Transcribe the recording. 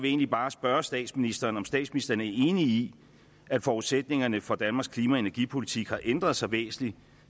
egentlig bare spørge statsministeren om statsministeren er enig i at forudsætningerne for danmarks klima og energipolitik har ændret sig væsentligt